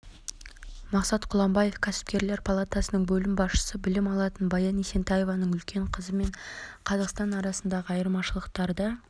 мақсат құланбаев кәсіпкерлер палатасының бөлім басшысы білім алатын баян есентаеваның үлкен қызы пен қазақстан арасындағы айырмашылықтарды